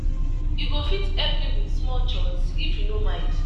you go fit help me with small chores if you no mind?